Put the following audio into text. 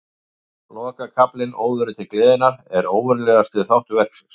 Lokakaflinn, Óðurinn til gleðinnar, er óvenjulegasti þáttur verksins.